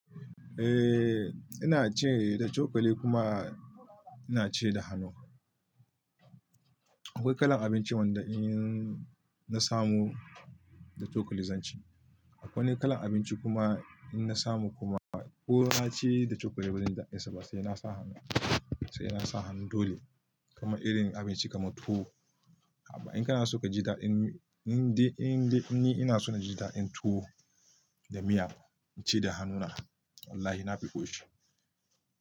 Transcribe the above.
Eh ina ci da cokali kuma inaci da hanu. Akwai kalan abinci wanda in na samu da cokali zanci. Akwai wani kalan abinci kuma in na samu kuma ko na ci da cokali bazanji daɗinsa, ba sai na sa hannu, sai ina sa hannu dole. Kaman irin abinci kamar tuwo. Haba in kana so ka ji daɗin, inde inde ni ina so na ji daɗin tuwo da miya ci da hannu na. Wallahi na fi ƙoshi.